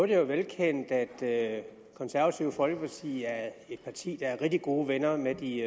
jo velkendt at det konservative folkeparti er et parti der er rigtig gode venner med de